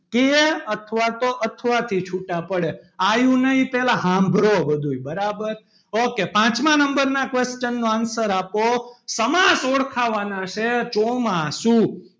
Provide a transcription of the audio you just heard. કે અથવા તો અથવા થી છૂટા પડે આયુ નહી પહેલા સાંભળો બધું એ બરાબર ok પાંચમા number ના question નો answer આપો સમાસ ઓળખાવાના છે ચોમાસુ.